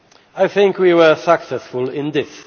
I think we were successful